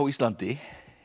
Íslandi